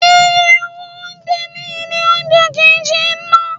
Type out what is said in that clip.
Iye owó oúnjẹ ní ilé oúnjẹ kì ń ṣe ná.